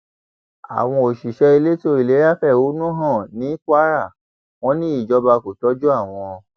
àwọn òṣìṣẹ elétò ìlera fẹhónú hàn ní kwara wọn ní ìjọba kò tọjú àwọn